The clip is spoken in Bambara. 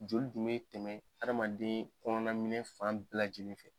Joli dun bɛ tɛmɛ adamaden kɔnɔna minɛn fan bɛɛ lajɛlen fɛ.